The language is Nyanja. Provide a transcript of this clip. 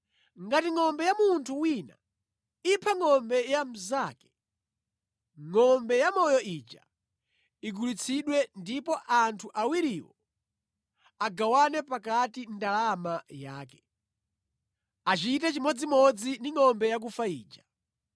“Ngati ngʼombe ya munthu wina ipha ngʼombe ya mnzake, ngʼombe yamoyo ija igulitsidwe ndipo anthu awiriwo agawane pakati ndalama yake. Achite chimodzimodzi ndi ngʼombe yakufa ija.